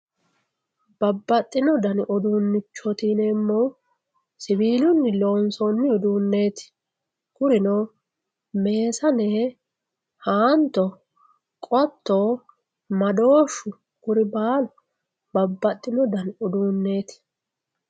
babbaxxino dani uduunnichooti yineemmohu siwiilunni loonsoonni uduunneeti kunino meesane haanto qotto madooshu kuri baalu babbaxxino dani uduunneeti.